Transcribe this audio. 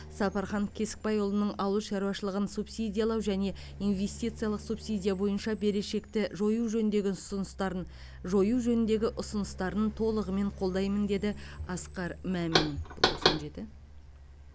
сапархан кесікбайұлының ауыл шаруашылығын субсидиялау және инвестициялық субсидия бойынша берешекті жою жөніндегі ұсыныстарын жою жөніндегі ұсыныстарын толығымен қолдаймын деді асқар мамин бұл тоқсан жеті